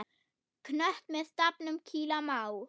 Knött með stafnum kýla má.